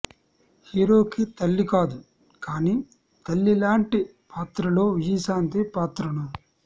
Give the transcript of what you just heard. హీరోకి తల్లి కాదు కానీ తల్లి లాంటి పాత్రలో విజయశాంతి పాత్రను